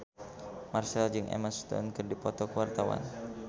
Marchell jeung Emma Stone keur dipoto ku wartawan